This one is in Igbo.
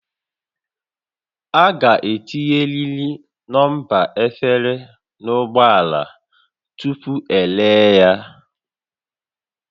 A ga-etinyerịrị nọmba efere n'ụgbọ ala tupu eree ya